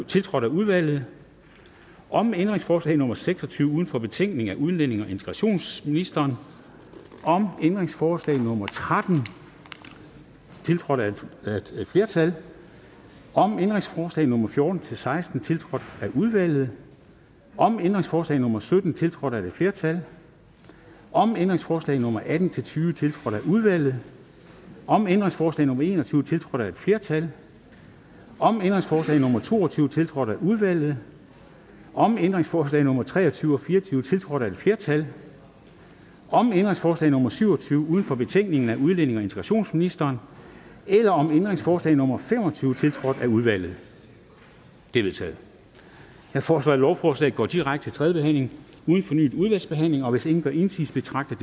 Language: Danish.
tiltrådt af udvalget om ændringsforslag nummer seks og tyve uden for betænkningen af udlændinge og integrationsministeren om ændringsforslag nummer tretten tiltrådt af et flertal om ændringsforslag nummer fjorten til seksten tiltrådt af udvalget om ændringsforslag nummer sytten tiltrådt af et flertal om ændringsforslag nummer atten til tyve tiltrådt af udvalget om ændringsforslag nummer en og tyve tiltrådt af et flertal om ændringsforslag nummer to og tyve tiltrådt af udvalget om ændringsforslag nummer tre og tyve og fire og tyve tiltrådt af et flertal om ændringsforslag nummer syv og tyve uden for betænkningen af udlændinge og integrationsministeren eller om ændringsforslag nummer fem og tyve tiltrådt af udvalget det er vedtaget jeg foreslår at lovforslaget går direkte til tredje behandling uden fornyet udvalgsbehandling hvis ingen gør indsigelse betragter